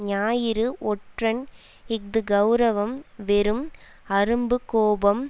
ஞாயிறு ஒற்றன் இஃது கெளரவம் வெறும் அரும்பு கோபம்